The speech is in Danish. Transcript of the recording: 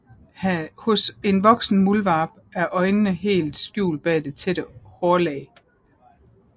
Hos en voksen muldvarp er øjnene helt skjult bag det tætte hårlag